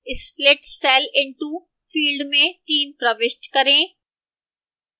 split cell into field में 3 प्रविष्ट करें